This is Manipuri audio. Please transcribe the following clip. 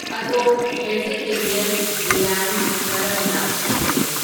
ꯑꯗꯣꯝ ꯕꯦꯖꯤꯇꯦꯔꯤꯌꯟ ꯕꯤꯔꯌꯅꯤ ꯀꯔꯝꯅ ꯁꯦꯝꯕꯒꯦ